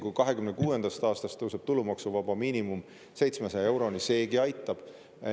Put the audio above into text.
Kui 2026. aastast tõuseb tulumaksuvaba miinimum 700 euroni, seegi aitab.